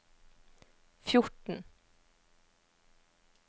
fjorten